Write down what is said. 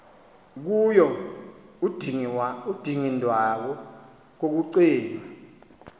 kuyo udingindawo kukucinga